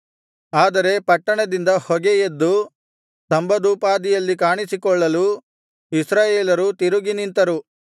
ಆದರೆ ಪಟ್ಟಣದಿಂದ ಹೊಗೆ ಎದ್ದು ಸ್ತಂಭದೋಪಾದಿಯಲ್ಲಿ ಕಾಣಿಸಿಕೊಳ್ಳಲು ಇಸ್ರಾಯೇಲರು ತಿರುಗಿ ನಿಂತರು